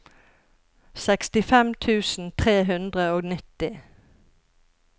sekstifem tusen tre hundre og nitti